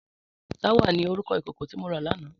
Tàwá ni órúkò ikókó ti mó rá làná